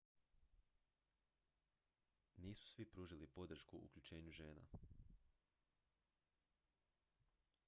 nisu svi pružili podršku uključenju žena